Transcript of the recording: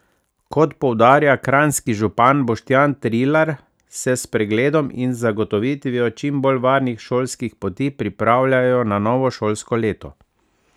Kot poudarja kranjski župan Boštjan Trilar, se s pregledom in zagotovitvijo čim bolj varnih šolskih poti pripravljajo na novo šolsko leto.